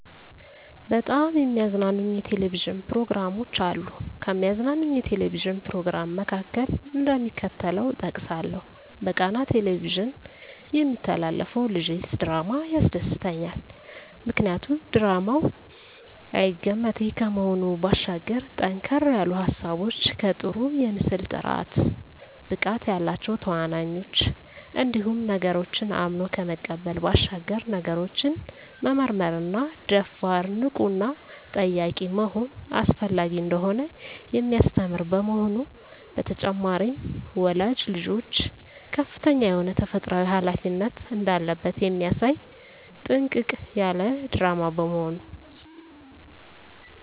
በጣም የሚያዝናኑኝ የ"ቴሌቪዥን" ፕሮግራሞች አሉ፣ ከሚያዝናናኝ የ"ቴሌቪዥን" "ፕሮግራም" መካከል፣ እደሚከተለው እጠቅሳለሁ በቃና "ቴሌቪዥን" የሚተላለፈው ልጀስ ድራማ ያስደስተኛል። ምክንያቱ ድራማው አይገመቴ ከመሆኑ ባሻገር ጠንከር ያሉ ሀሳቦች ከጥሩ የምስል ጥራት፣ ብቃት ያላቸው ተዋናኞች እንዲሁም ነገሮችን አምኖ ከመቀበል ባሻገር ነገሮችን መመርመርና ደፋር፣ ንቁና ጠያቂ መሆን አስፈላጊ እንደሆነ የሚያስተምር በመሆኑ። በተጨማሪም ወላጅ ልጆቹ ከፍተኛ የሆነ ተፈጥሮአዊ ሀላፊነት እንዳለበት የሚያሳይ ጥንቅቅ ያለ ድራማ በመሆኑ።